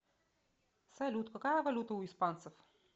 салют какая валюта у испанцев